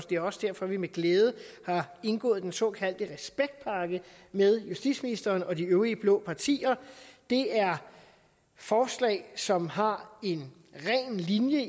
det er også derfor at vi med glæde har indgået en såkaldte respektpakke med justitsministeren og de øvrige blå partier det er forslag som har en ren linje